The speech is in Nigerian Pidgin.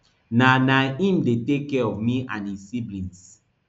na na im dey take care of me and e siblings